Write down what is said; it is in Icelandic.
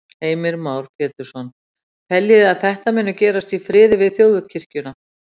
Heimir Már Pétursson: Teljiði að þetta muni gerast í friði við Þjóðkirkjuna?